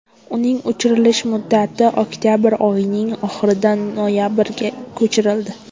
Uning uchirilish muddati oktabr oyining oxiridan noyabrga ko‘chirildi.